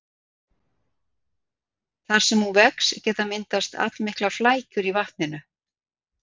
Þar sem hún vex geta myndast allmiklar flækjur í vatninu.